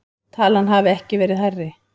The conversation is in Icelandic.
Talan hafi ekki verið hærri